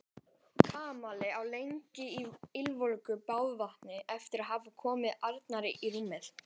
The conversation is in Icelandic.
Kamilla lá lengi í ylvolgu baðvatninu eftir að hafa komið Arnari í rúmið.